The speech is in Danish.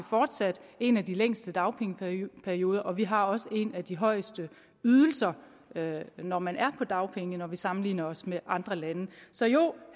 fortsat en af de længste dagpengeperioder og vi har også en af de højeste ydelser når man er på dagpenge hvis vi sammenligner os med andre lande så jo